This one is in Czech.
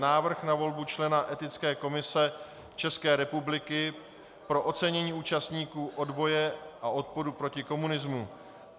Návrh na volbu člena Etické komise České republiky pro ocenění účastníků odboje a odporu proti komunismu